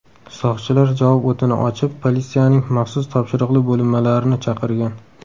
Soqchilar javob o‘tini ochib, politsiyaning maxsus topshiriqli bo‘linmalarini chaqirgan.